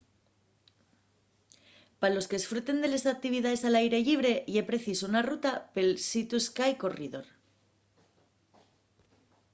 pa los qu'esfruten de les actividaes al aire llibre ye preciso una ruta pel sea to sky corridor